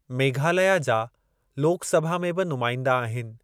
मेघालया जा लोक सभा में बि नुमाइंदा आहिनि।